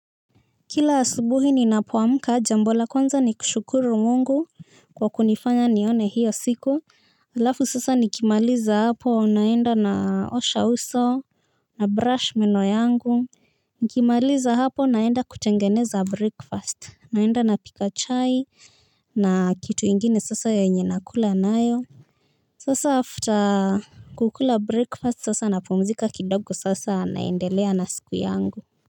Kila asubuhi ninapoamka jambo la kwanza ni kushukuru mungu kwa kunifanya nione hiyo siku. Halafu sasa nikimaliza hapo naenda naosha uso nabrush meno yangu. Nikimaliza hapo naenda kutengeneza breakfast, naenda na pika chai. Na kitu ingine sasa yenye nakula nayo. Sasa after kukula breakfast sasa napumzika kidogo sasa naendelea na siku yangu.